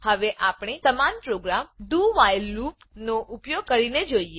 હવે આપણે સમાન program dowhile loop do while loop નો ઉપયોગ કરીને જોઈએ